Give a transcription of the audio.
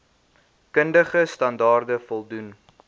kundige standaarde voldoen